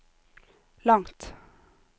langt